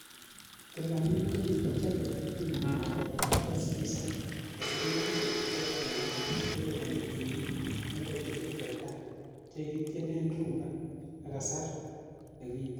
Tilanit ko kikichobe yekin kobarasta skiza aisurisiek che lelach che liponi tienik, en betusiek che tai chekikityen rhumba en kasar nekiten.